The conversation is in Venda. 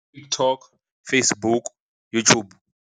TikTok, Facebook, YouTube.